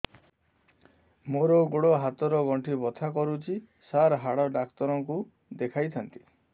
ମୋର ଗୋଡ ହାତ ର ଗଣ୍ଠି ବଥା କରୁଛି ସାର ହାଡ଼ ଡାକ୍ତର ଙ୍କୁ ଦେଖାଇ ଥାନ୍ତି